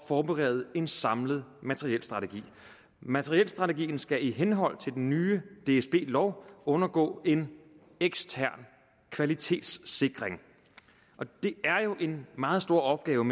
forberede en samlet materielstrategi materielstrategien skal i henhold til den nye dsb lov undergå en ekstern kvalitetssikring og det er jo en meget stor opgave